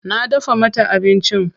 Na dafa mata abincin.